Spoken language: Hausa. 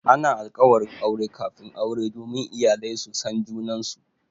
Ana alkawarin aure kafin aure domin iyalai su san junansu.